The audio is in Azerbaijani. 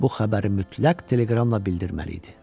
Bu xəbəri mütləq teleqramla bildirməli idi.